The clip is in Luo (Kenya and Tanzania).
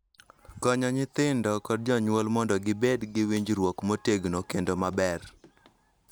Konyo nyithindo kod jonyuol mondo gibed gi winjruok motegno kendo maber.